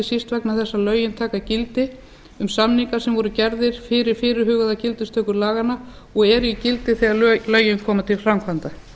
síst vegna þess að lögin taka gildi um samninga sem voru gerðir fyrir fyrirhugaða gildistöku laganna og eru í gildi þegar lögin koma til framkvæmda